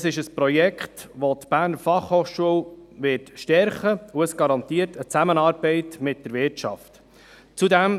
Es ist ein Projekt, welches die BFH stärken wird, weil es eine Zusammenarbeit mit der Wirtschaft garantiert.